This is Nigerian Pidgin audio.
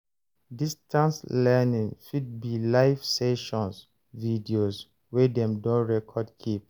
Distance learning fit be live sessions videos wey dem don record keep